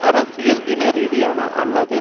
அரசியல் இன ரீதியான அல்லது